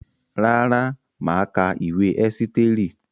Rárá, mà á ka ìwé Ẹ́sítérì.